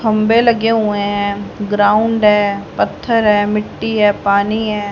खंभे लगे हुए हैं ग्राउंड है पत्थर है मिट्टी है पानी है।